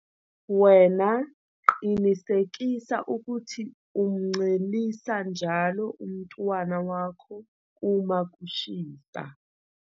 Wena qinisekisa ukuthi umncelisa njalo umntwana wakho uma kushisa.